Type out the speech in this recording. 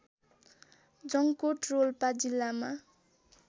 जङ्कोट रोल्पा जिल्लामा